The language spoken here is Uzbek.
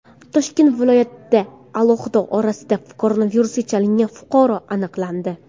Toshkent viloyatida aholi orasida koronavirusga chalingan fuqaro aniqlandi.